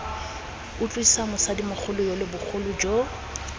utlwisa mosadimogolo yole botlhoko jo